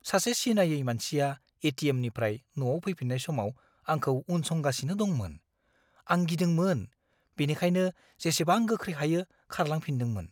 सासे सिनायै मानसिया ए.टि.एम.निफ्राय न'आव फैफिन्नाय समाव आंखौ उनसंगासिनो दंमोन। आं गिदोंमोन, बेनिखायनो जेसेबां गोख्रै हायो, खारलांफिन्दोंमोन।